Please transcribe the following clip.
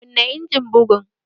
Kunna injimin bugun!